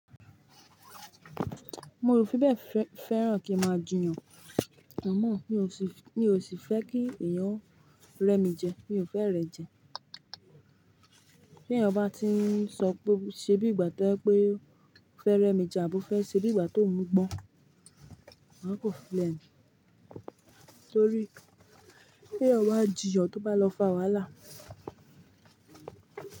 Mo ò fi bẹ́ẹ̀ fẹ́ràn kí ń máa jiyàn. Àmọ́ mi ò sì fẹ́ kí èèyàn rẹ́ mi jẹ, mi ò fẹ́ ìrẹ́jẹ. Bí èèyàn bá ti ń sọ pé ṣe bí ìgbà tó jẹ pé ó fẹ́ rẹ́ mi jẹ àbó fẹ́ se bí ìgbà tó òun gbọ́n, máa kan filẹ ni. Torí bí èèyàn bá jìyan tó bá lọ fà wàhálà.